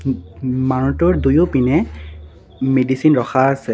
মানুহটোৰ দুয়োপিনে মেডিচিন ৰখা আছে।